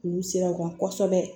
K'u siran kosɛbɛ